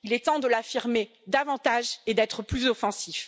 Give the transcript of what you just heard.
il est temps de l'affirmer davantage et d'être plus offensifs.